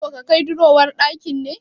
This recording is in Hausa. Kana so ka kai durowar ɗakin ne?